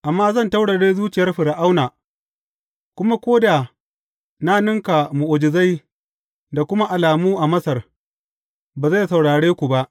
Amma zan taurare zuciyar Fir’auna, kuma ko da na ninka mu’ujizai da kuma alamu a Masar, ba zai saurare ku ba.